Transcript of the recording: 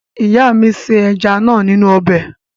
Ìyà mú se ẹja náà nínú ọbẹ̀.